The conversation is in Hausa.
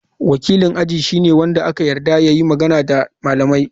Wakilin aji shine wanda aka yarda ya yi magana da malamai.